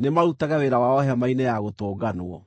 nĩmarutage wĩra wao Hema-inĩ-ya-Gũtũnganwo.